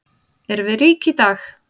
Erum við rík í dag?